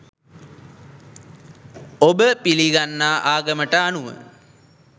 ඔබ පිලිගන්නා ආගමට අනුව